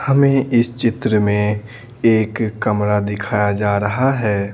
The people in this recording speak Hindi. हमें इस चित्र में एक कमरा दिखाया जा रहा है।